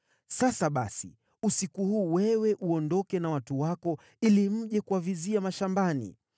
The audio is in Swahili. Sasa, basi, usiku huu wewe uondoke na watu wako ili mje kuwavizia mashambani.